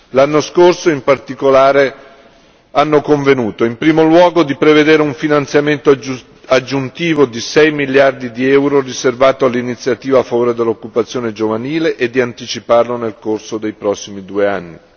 L'anno scorso in particolare, hanno convenuto in primo luogo di prevedere un finanziamento aggiuntivo di sei miliardi di euro riservato all'iniziativa a favore dell'occupazione giovanile e di anticiparlo nel corso dei prossimi due anni.